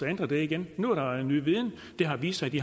ændre det igen nu er der ny viden og det har vist sig at de